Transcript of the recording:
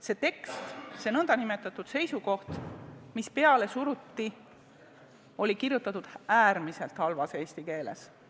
See tekst, see nn seisukoht, mis peale suruti, on veel kirjutatud äärmiselt halvas eesti keeles.